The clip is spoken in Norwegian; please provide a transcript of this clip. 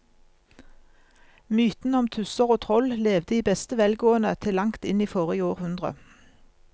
Mytene om tusser og troll levde i beste velgående til langt inn i forrige århundre.